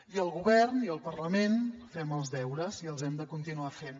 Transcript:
i el govern i el parlament fem els deures i els hem de continuar fent